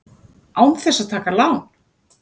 Án þess að taka lán!